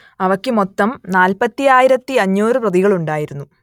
അവയ്ക്ക് മൊത്തം നാല്പത്തിയായിരത്തിയഞ്ഞൂറ് പ്രതികൾ ഉണ്ടായിരുന്നു